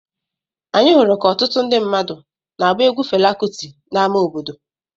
Anyị hụrụ ka ọtụtụ ndị mmadụ na-agba egwu Fela Kuti n’ámá obodo.